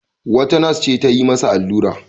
Wata nas ce ta yi masa allura.